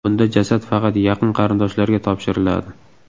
Bunda jasad faqat yaqin qarindoshlarga topshiriladi.